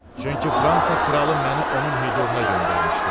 Çünki Fransa kralı məni onun hüzuruna göndərmişdi.